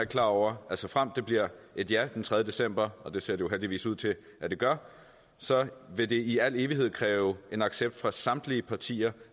klar over at såfremt det bliver et ja den tredje december og det ser det jo heldigvis ud til at det gør vil det i al evighed kræve en accept fra samtlige japartier